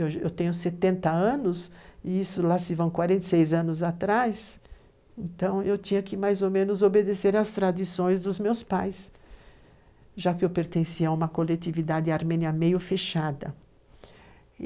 Eu tenho 70 anos, e isso lá se vão 46 anos atrás, então eu tinha que mais ou menos obedecer às tradições dos meus pais, já que eu pertencia a uma coletividade armênia meio fechada.